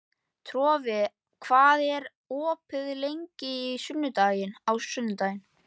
Torfi, hvað er opið lengi á sunnudaginn?